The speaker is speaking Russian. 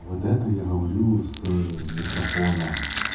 вот это я говорю с микрофона